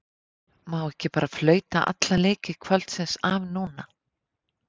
Má ekki bara flauta alla leiki kvöldsins af núna?